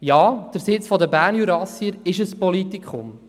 Ja, der Sitz der Bernjurassier ist ein Politikum.